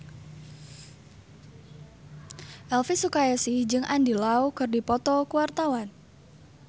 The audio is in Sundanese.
Elvi Sukaesih jeung Andy Lau keur dipoto ku wartawan